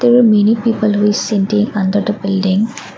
there are many people who is under the building.